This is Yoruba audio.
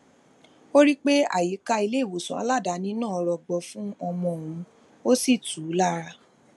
ó rí i pé àyíká iléìwòsàn aladaani náà rọgbọ fún ọmọ òun ó sì tù ú lára